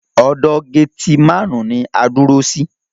Ọ̀dọ̀ getimáànu ní a dúró sí.